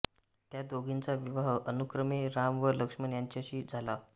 त्या दोघींचा विवाह अनुक्रमे राम व लक्ष्मण यांच्याशी झाला